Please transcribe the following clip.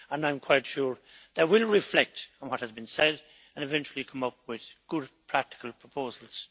I am quite sure they will reflect on what has been said and eventually come up with good, practical proposals.